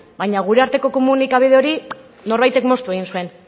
baina gure arteko komunikabide hori norbaitek moztu egin zuen